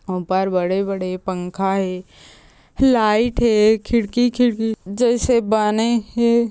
ओपार बड़े - बड़े पंखा हे लाइट हे खिड़की - खिड़की जइसे बने हे।